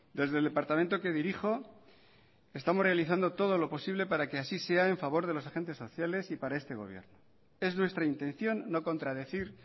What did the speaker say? desde el departamento que dirijo estamos realizando todo lo posible para que así sea en favor de los agentes sociales y para este gobierno es nuestra intención no contradecir